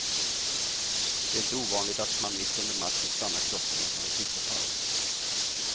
Det är inte ovanligt att man mitt under matchen stannar klockorna och tar en fikapaus.